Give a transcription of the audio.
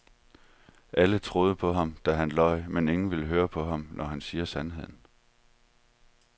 Alle troede på ham, da han løj, men ingen vil høre på ham, når han siger sandheden.